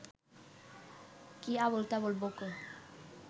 কী আবোলতাবোল বকো